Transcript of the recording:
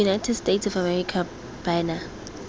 united states of america bana